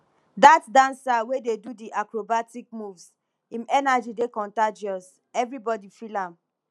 dat dancer wey dey do di acrobatic moves im energy dey contagious everybodi feel am